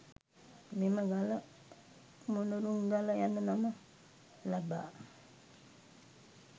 මෙම ගල මොණරුන්ගල යන නම ලබා